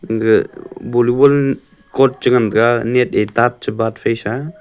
ga volleyball chort chengan taga net fesa.